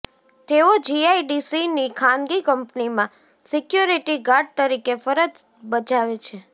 તેઓ જીઆઈડીસીની ખાનગી કંપનીમાં સિક્યોરીટી ગાર્ડ તરીકે ફરજ બજાવે છે